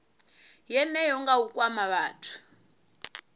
yeneyo nga u kwama vhathu